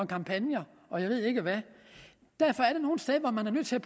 kampagner og jeg ved ikke hvad derfor er der nogle steder hvor man er nødt til at